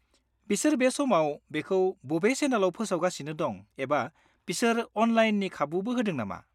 -बिसोर बे समाव बेखौ बबे चेनेलाव फोसावगासिनो दं एबा बिसोर अनलाइननि खाबुबो होदों नामा?